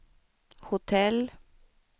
hotell